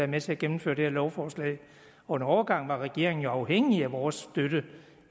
med til at gennemføre det her lovforslag og en overgang var regeringen jo afhængig af vores støtte